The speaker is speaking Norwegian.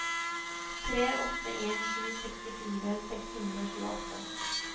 tre åtte en sju sekstifire seks hundre og tjueåtte